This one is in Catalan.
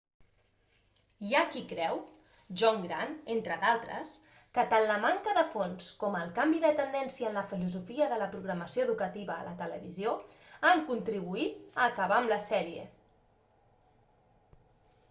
hi ha qui creu john grant entre d'altres que tant la manca de fons com el canvi de tendència en la filosofia de la programació educativa a la televisió han contribuït a acabar amb la sèrie